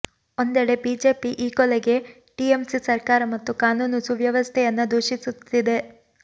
ಒಂದೆಡೆ ಬಿಜೆಪಿ ಈ ಕೊಲೆಗೆ ಟಿಎಂಸಿ ಸರ್ಕಾರ ಮತ್ತು ಕಾನೂನು ಸುವ್ಯವಸ್ಥೆಯನ್ನ ದೂಷಿಸುತ್ತಿದೆ